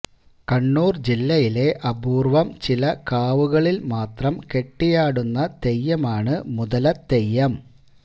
കണ്ണൂര് ജില്ലയിലെ അപൂര്വ്വം ചില കാവുകളില് മാത്രം കെട്ടിയാടുന്ന തെയ്യമാണ് മുതലത്തെയ്യം